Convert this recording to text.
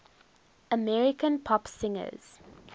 american pop singers